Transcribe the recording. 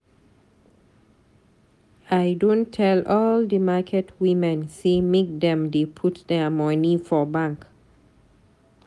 I don tell all di market women sey make dem dey put their money for bank.